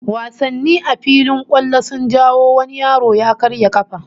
Wasanni a filin kwallo sun jawo wani yaro ya karya kafa